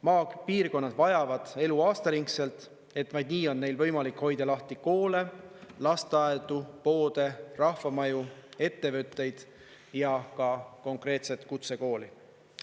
Maapiirkonnad vajavad elu aastaringselt, vaid nii on neil võimalik hoida lahti koole, lasteaedu, poode, rahvamaju, ettevõtteid ja ka konkreetset kutsekooli.